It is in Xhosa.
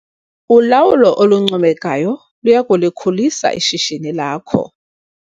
Ulawulo oluncomekayo luya kulikhulisa ishishini lakho